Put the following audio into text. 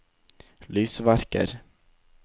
lysverker